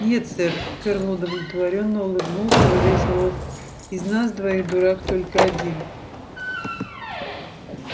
нет сэр ферл удовлетворённо улыбнулся во весь рот из нас двоих дурак только один